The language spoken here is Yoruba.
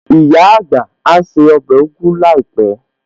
Ìyá àgbà á se ọbẹ̀ ugu láìpẹ̀